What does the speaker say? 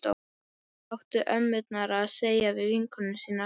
Hvað áttu ömmurnar að segja við vinkonur sínar?